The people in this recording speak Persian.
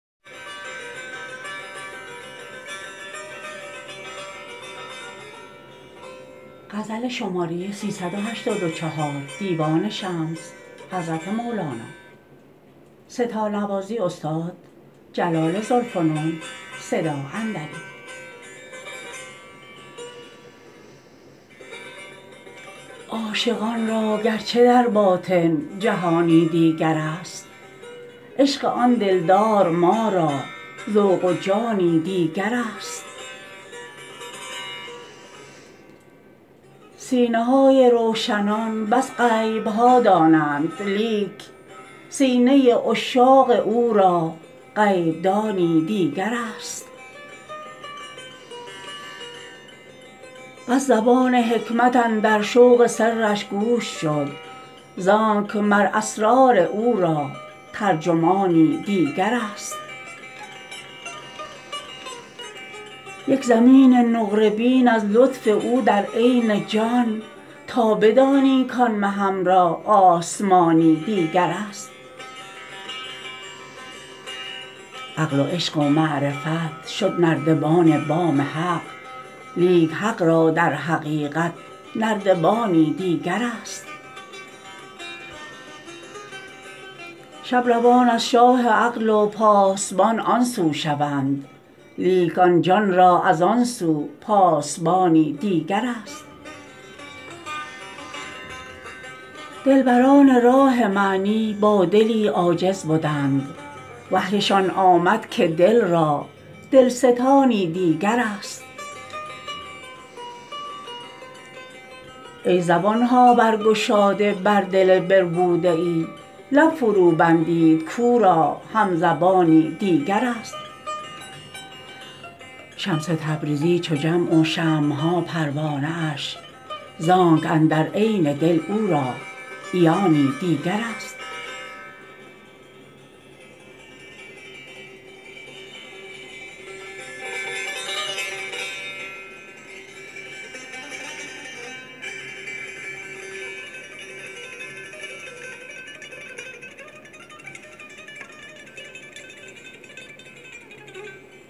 عاشقان را گرچه در باطن جهانی دیگرست عشق آن دلدار ما را ذوق و جانی دیگرست سینه های روشنان بس غیب ها دانند لیک سینه عشاق او را غیب دانی دیگرست بس زبان حکمت اندر شوق سرش گوش شد زانک مر اسرار او را ترجمانی دیگرست یک زمین نقره بین از لطف او در عین جان تا بدانی کان مهم را آسمانی دیگرست عقل و عشق و معرفت شد نردبان بام حق لیک حق را در حقیقت نردبانی دیگرست شب روان از شاه عقل و پاسبان آن سو شوند لیک آن جان را از آن سو پاسبانی دیگرست دلبران راه معنی با دلی عاجز بدند وحیشان آمد که دل را دلستانی دیگرست ای زبان ها برگشاده بر دل بربوده ای لب فروبندید کو را همزبانی دیگرست شمس تبریزی چو جمع و شمع ها پروانه اش زانک اندر عین دل او را عیانی دیگرست